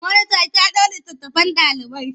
Monita ki haɗo littattafan ɗalibai.